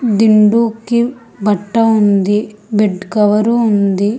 దిండు కి బట్ట ఉంది బెడ్ కవరు ఉంది.